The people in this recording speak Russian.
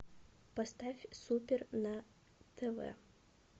поставь супер на тв